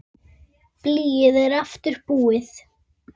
Blýið er aftur búið.